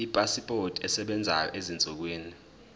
ipasipoti esebenzayo ezinsukwini